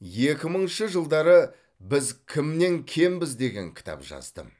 екі мыңыншы жылдары біз кімнен кембіз деген кітап жаздым